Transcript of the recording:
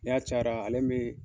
Na cayara ale be